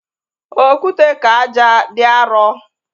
Okwute ka ájá dị arọ